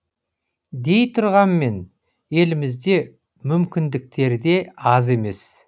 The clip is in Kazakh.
дей тұрғанмен елімізде мүмкіндіктер де аз емес